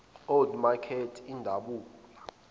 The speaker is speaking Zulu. old makert idabula